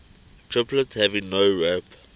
triplet having nowrap